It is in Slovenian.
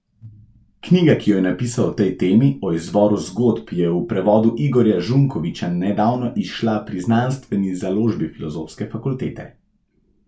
Knjiga, ki jo je napisal o tej temi, O izvoru zgodb, je v prevodu Igorja Žunkoviča nedavno izšla pri Znanstveni založbi Filozofske fakultete.